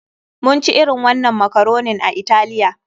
Mun ci irin wannan makaronin a Italiya.